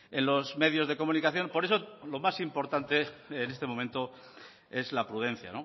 en los medios de comunicación por eso lo más importante en este momento es la prudencia